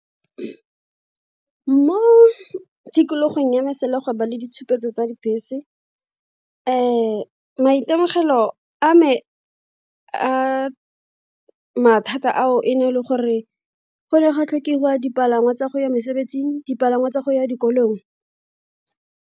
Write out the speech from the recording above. Mo tikologong yame sala gwa ba le ditshupetso tsa dibese maitemogelo a me a mathata ao e ne e le gore go ne gwa tlhokega dipalangwa tsa go ya mesebetsing, dipalangwa tsa go ya dikolong.